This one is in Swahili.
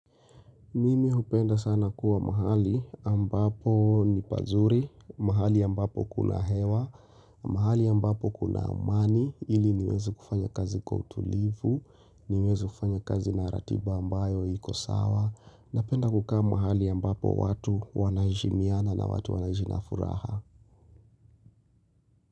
Mimi hupenda sana kuwa mahali ambapo ni pazuri, mahali ambapo kuna hewa, mahali ambapo kuna amani, ili niweze kufanya kazi kwa utulivu, niweze kufanya kazi na ratiba ambayo iko sawa, napenda kukaa mahali ambapo watu wanaheshimiana na watu wanaishi na furaha.